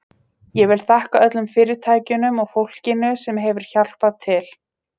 Ég vil þakka öllum fyrirtækjunum og fólkinu sem hefur hjálpað til.